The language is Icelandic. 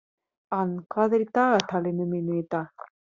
Ann, hvað er í dagatalinu mínu í dag?